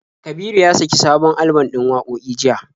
Kabiru ya saki sabon alban ɗin wakoki jiya.